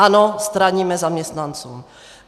Ano, straníme zaměstnancům.